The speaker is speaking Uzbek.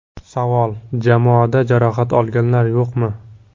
Savol: Jamoada jarohat olganlar yo‘qmi?